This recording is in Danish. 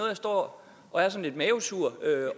jeg står og er sådan lidt mavesur